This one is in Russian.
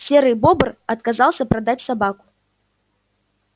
серый бобр отказался продать собаку